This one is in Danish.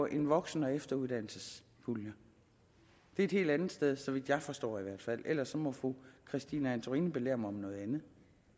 en voksen og efteruddannelsespulje det er et helt andet sted så vidt jeg forstår i hvert fald ellers må fru christine antorini belære mig om noget andet